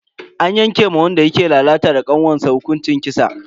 An yanke ma wanda yake lalata da kanwarsa hukuncin kisa.